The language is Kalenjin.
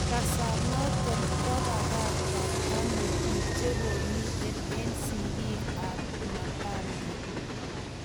Kasaenaton kopakatan ano pik chekomiten en sigik ap mapango